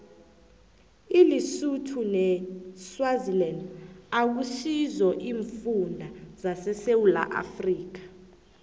ilisotho neswaziland akusizo iimfunda zesewula afrika